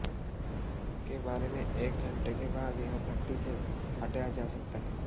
के बारे में एक घंटे के बाद यह भट्ठी से हटाया जा सकता है